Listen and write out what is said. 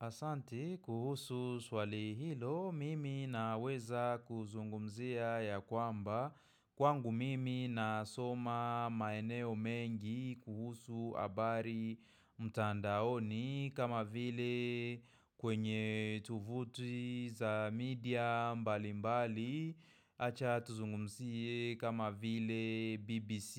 Asante kuhusu swali hilo mimi na weza kuzungumzia ya kwamba Kwangu mimi nasoma maeneo mengi kuhusu habari mtandaoni kama vile kwenye tuvuti za media mbali mbali Acha tuzungumzie kama vile BBC